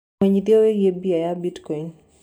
ũmenyĩthĩeũhoro wĩĩgĩe beĩ ya bitcoin